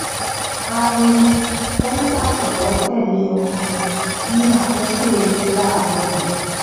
a rí i tó ń pàtẹwọ tẹlé orin ní àkókò eré láàrọ yìí